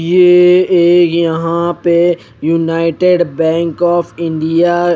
ये एक यहा पे यूनाइटेड बैंक ऑफ़ इंडिया --